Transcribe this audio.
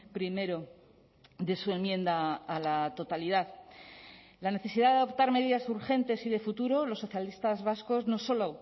primero de su enmienda a la totalidad la necesidad de adoptar medidas urgentes y de futuro los socialistas vascos no solo